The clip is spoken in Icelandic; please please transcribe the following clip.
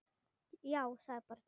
Já, sagði barnið.